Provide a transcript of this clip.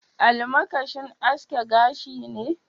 Almakashin aske gashi ne?